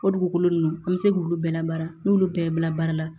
O dugukolo ninnu an bɛ se k'olu bɛɛ la baara n'olu bɛɛ bila baara la